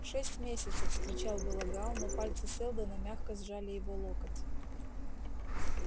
шесть месяцев вскричал было гаал но пальцы сэлдона мягко сжали его локоть